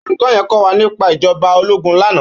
Ólúkò yèn kòwá nipá ijòbá ólógùn làná